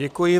Děkuji.